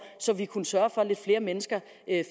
så vi kunne sørge for at lidt flere mennesker